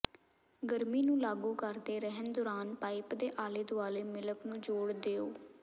ਗਰਮੀ ਨੂੰ ਲਾਗੂ ਕਰਦੇ ਰਹਿਣ ਦੌਰਾਨ ਪਾਈਪ ਦੇ ਆਲੇ ਦੁਆਲੇ ਮਿਲਕ ਨੂੰ ਜੋੜ ਦਿਓ